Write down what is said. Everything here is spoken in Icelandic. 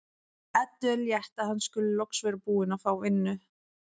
Eddu er létt að hann skuli loks vera búinn að fá vinnu.